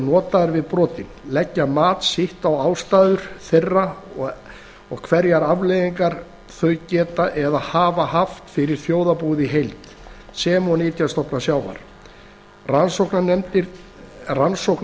notaðar við brotin leggja mat sitt á ástæður þeirra og hverjar afleiðingar þau geta eða hafa haft fyrir þjóðarbúið í heild sem og nytjastofna sjávar rannsókn